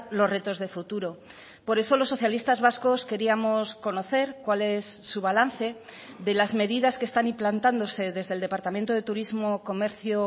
los retos de futuro por eso los socialistas vascos queríamos conocer cuál es su balance de las medidas que están implantándose desde el departamento de turismo comercio